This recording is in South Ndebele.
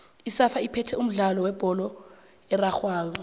isafa iphethe umdlalo webholo erarhwako